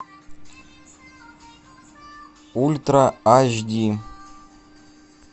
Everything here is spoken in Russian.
ультра аш ди